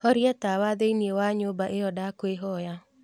horia tawa thīini wa nyūmba iyo ndakwīhoya